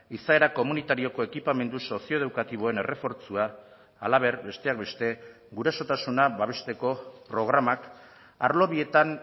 izaera komunitarioko ekipamendu sozioedukatiboen errefortzua halaber besteak beste gurasotasuna babesteko programak arlo bietan